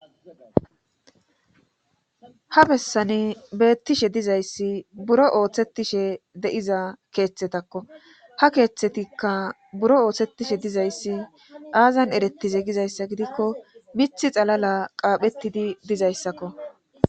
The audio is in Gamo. Ha bessani beettishe dizayssi buro ooththetishe de7iza keeththetakko ha keeththetikka buro ooththetishe dizayssi aazan eretize gizayssa gidikko mithi xalala qaaphettidi dizayssakko.